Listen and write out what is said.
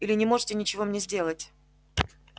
или не можете ничего мне сделать